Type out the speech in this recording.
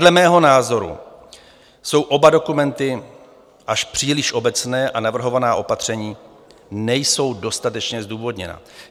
Dle mého názoru jsou oba dokumenty až příliš obecné a navrhovaná opatření nejsou dostatečně zdůvodněna.